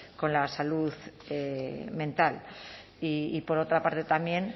con la salud mental y por otra parte también